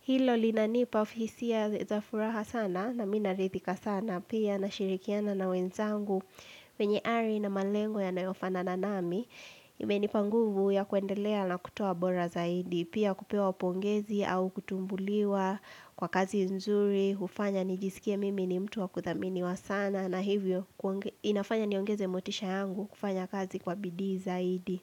Hilo linanipa hisia za furaha sana na mimi naridhika sana pia nashirikiana na wenzangu. Wenye ari na malengo yanayofanana nami imenipa nguvu ya kuendelea na kutoa bora zaidi Pia kupewa pongezi au kutumbuliwa kwa kazi nzuri hufanya nijisikie mimi ni mtu wa kuthaminiwa sana na hivyo inafanya niongeze motisha yangu kufanya kazi kwa bidii zaidi.